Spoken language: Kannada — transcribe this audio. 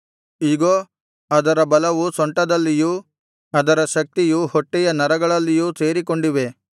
ಇಗೋ ಅದರ ಬಲವು ಸೊಂಟದಲ್ಲಿಯೂ ಅದರ ಶಕ್ತಿಯು ಹೊಟ್ಟೆಯ ನರಗಳಲ್ಲಿಯೂ ಸೇರಿಕೊಂಡಿವೆ